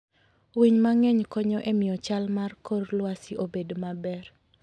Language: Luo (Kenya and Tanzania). Winy mang'eny konyo e miyo chal mar kor lwasi obed maber.